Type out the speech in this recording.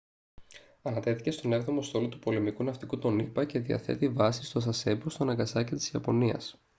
ανατέθηκε στον έβδομο στόλο του πολεμικού ναυτικού των ηπα και διαθέτει βάση στο sasebo στο ναγκασάκι της ιαπωνίας